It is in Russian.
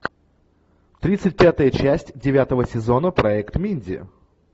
тридцать пятая часть девятого сезона проект минди